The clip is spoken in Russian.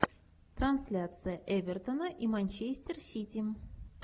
трансляция эвертона и манчестер сити